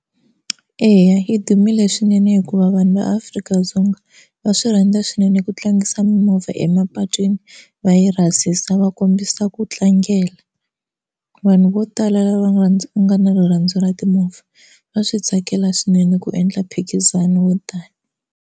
Eya yi dumile swinene hikuva vanhu va Afrika-Dzonga va swi rhandza swinene ku tlangisa mimovha emapatwini va yi rhasisa va kombisa ku tlangela. Vanhu vo tala lava nga na rirhandzu ra timovha va swi tsakela swinene ku endla mphikizano wo tano.